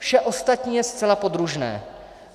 Vše ostatní je zcela podružné.